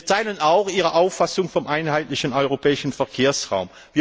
Wir teilen auch Ihre Auffassung vom einheitlichen europäischen Verkehrsraum.